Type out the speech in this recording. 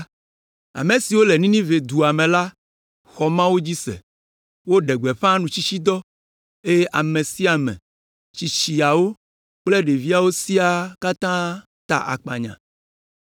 Ame siwo le Ninive dua me la xɔ Mawu dzi se; woɖe gbeƒã nutsitsidɔ, eye ame sia ame, tsitsiawo kple ɖeviwo siaa ta akpanya.